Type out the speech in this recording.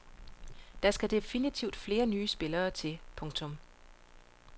Der skal definitivt flere nye spillere til. punktum